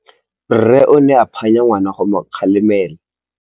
Rre o ne a phanya ngwana go mo galemela.